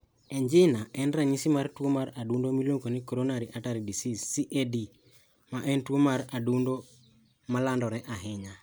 Angina en ranyisi mar tuwo mar adundo miluongo ni coronary artery disease (CAD), ma en tuwo mar adundo ma landore ahinya.